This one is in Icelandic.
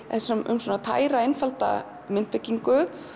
um tæra einfalda myndbyggingu